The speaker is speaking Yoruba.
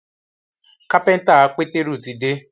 kápẹ́ńtà peteru tí dé